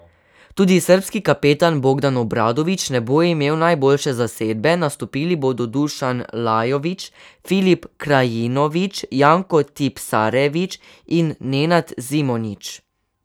Tudi srbski kapetan Bogdan Obradović ne bo imel najboljše zasedbe, nastopili bodo Dušan Lajović, Filip Krajinović, Janko Tipsarević in Nenad Zimonjić.